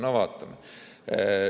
No vaatame.